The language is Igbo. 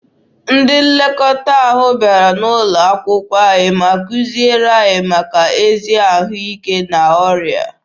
Ndị nlekọta ahụ bịara N'ụlọakwụkwọ anyị ma kuziere anyị maka ezi ahụike na ọrịa.